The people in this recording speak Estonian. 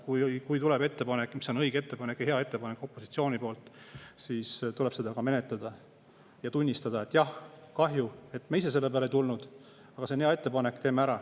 Kui opositsioonilt tuleb ettepanek, mis on õige ja hea ettepanek, siis tuleb seda menetleda ja tunnistada, et jah, kahju, et me ise selle peale tulnud, aga see on hea ettepanek, teeme ära.